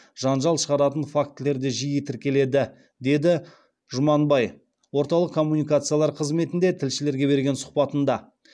жанжал шығаратын фактілер де жиі тіркеледі деді жұманбай орталық коммуникациялар қызметінде тілшілерге берген сұхбатында